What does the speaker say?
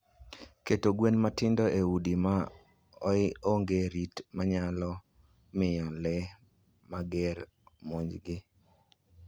Keto gwen matindo e udi ma onge rit nyalo miyo le mager omonjgi.